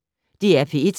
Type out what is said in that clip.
DR P1